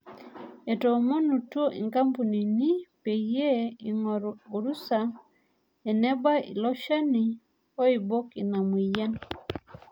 Etoomonutuo nkampunini peyie eing'oru arusa enebau ilo shani oibok ina mueyian.